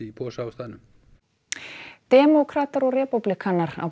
posa á staðnum demókratar og repúblikanar á